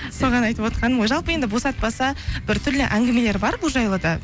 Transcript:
соған айтып отырғаным ғой жалпы енді босатпаса біртүрлі әңгімелер бар бұл жайлы да